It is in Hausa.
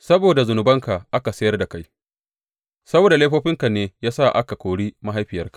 Saboda zunubanka aka sayar da kai; saboda laifofinka ne ya sa aka kori mahaifiyarka.